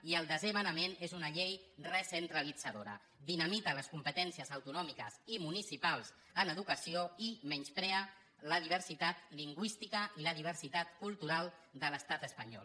i el desè manament és una llei recentralitzadora dinamita les competències autonòmiques i municipals en educació i menysprea la diversitat lingüística i la diversitat cultural de l’estat espanyol